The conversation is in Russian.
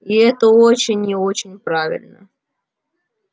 и это очень и очень правильно